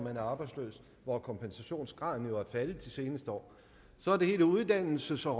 er arbejdsløse hvor kompensationsgraden jo er faldet de seneste år så er der hele uddannelses og